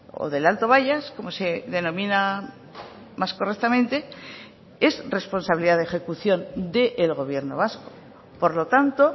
o del alto bayas como se denomina más correctamente es responsabilidad de ejecución del gobierno vasco por lo tanto